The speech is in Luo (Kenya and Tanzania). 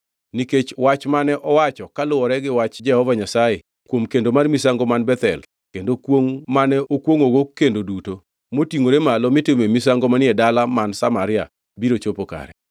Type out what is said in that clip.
Nikech wach mane owacho kuluworegi wach Jehova Nyasaye kuom kendo mar misango man Bethel kendo kwongʼ mane okwongʼogo kuonde duto motingʼore malo mitimoe misango manie dala man Samaria biro chopo kare.”